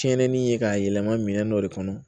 Tiɲɛnii ye k'a yɛlɛma minɛn dɔ de kɔnɔ